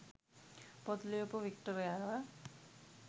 පොත් ලියපු වික්ටරයව